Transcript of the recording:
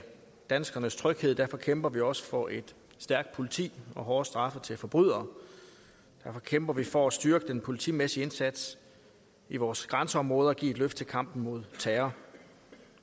danskernes tryghed og derfor kæmper vi også for et stærkt politi og hårde straffe til forbrydere derfor kæmper vi for at styrke den politimæssige indsats i vores grænseområder og give et løft til kampen mod terror